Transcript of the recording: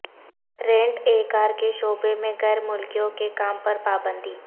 rent a car کے شعبے میں غیر ملکیوں کے کام پر پابندی